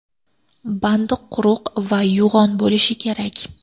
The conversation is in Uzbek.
Bandi quruq va yo‘g‘on bo‘lishi kerak.